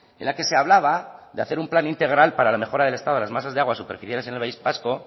en la que se hablaba de hacer un plan integral para la mejora del estado de las masas de agua superficiales en el país vasco